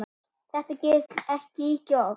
Þetta gerist ekki ýkja oft.